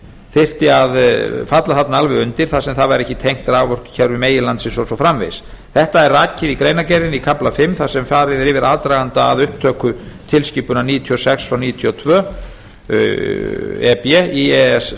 þyrfti að falla þarna alveg undir þar sem það væri ekki tengt raforkukerfi meginlandsins og svo framvegis þetta er rakið í greinargerðinni í kafla fimm þar sem farið er yfir aðdraganda að upptöku tilskipunar níutíu og sex frá níutíu og tvö e b e e s samninginn